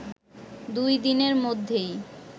দুই দিনের মধ্যেই